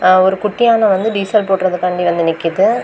அ ஒரு குட்டி யான வந்து டீசல் போடுறதுக்காண்டி வந்து நிக்குது.